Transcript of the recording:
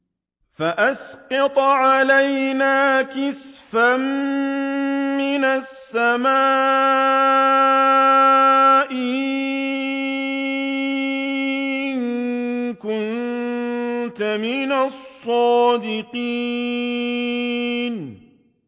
فَأَسْقِطْ عَلَيْنَا كِسَفًا مِّنَ السَّمَاءِ إِن كُنتَ مِنَ الصَّادِقِينَ